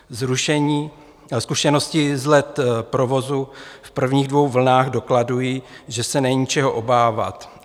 Zkušenosti z let provozu v prvních dvou vlnách dokladují, že se není čeho obávat.